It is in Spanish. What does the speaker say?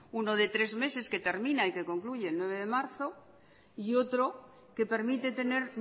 uno de tres meses que termina y que concluye el nueve de marzo y otro que permite tener